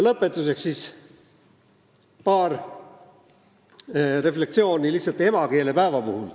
Lõpetuseks paar refleksiooni emakeelepäeva puhul.